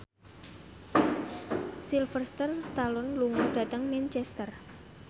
Sylvester Stallone lunga dhateng Manchester